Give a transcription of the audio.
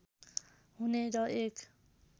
हुने र एक